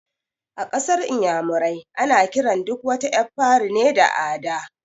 A ƙasar inyamurai ana kiran duk wata ƴar fari ne da "Ada"